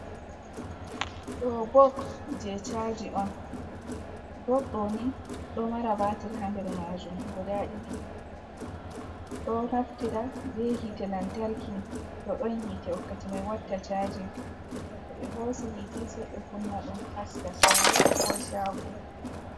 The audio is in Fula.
Ɗo bok je chaji on bok do nin do mara batir ha nder majum guda ɗiɗi ɗo naftira be hite lantarki to ɗon hite wakkati mai watta chaji to ɓe hosi hite seibe kunna ɗum haska saare ko shago.